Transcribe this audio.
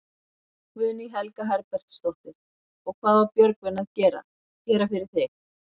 Guðný Helga Herbertsdóttir: Og hvað á Björgvin að gera, gera fyrir þig?